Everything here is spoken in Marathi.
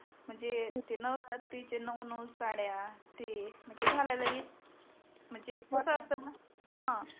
म्हणजे ते नवरात्रीचे नऊ नऊ साड्या ते म्हणजे घालाला घेत म्हणजे कस असत णा हा